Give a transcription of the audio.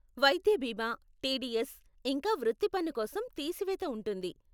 వైద్య బీమా, టీడీఎస్, ఇంకా వృత్తి పన్ను కోసం తీసివేత ఉంటుంది.